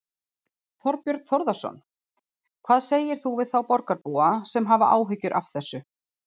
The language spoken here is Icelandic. Þorbjörn Þórðarson: Hvað segir þú við þá borgarbúa sem hafa áhyggjur af þessu?